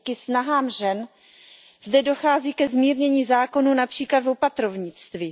Díky snahám žen zde dochází ke zmírnění zákonů, například v opatrovnictví.